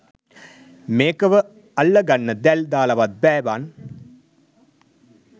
මේකව අල්ලගන්න දැල් දාලවත් බෑ බන්